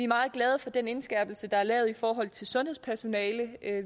meget glade for den indskærpelse der er lavet i forhold til sundhedspersonalet